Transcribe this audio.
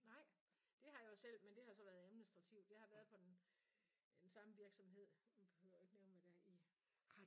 Nej? Det har jeg jo selv men det har så været administrativt. Jeg har været på i den samme virksomhed nu behøver jeg jo ikke nævne hvad det er i